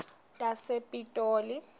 tasepitoli